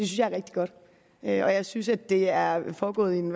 jeg er rigtig godt og jeg synes at det er foregået i en